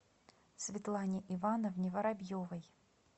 светлане ивановне воробьевой